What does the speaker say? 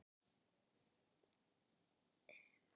Ertu að velta því fyrir þér að, að gefa kost á þér?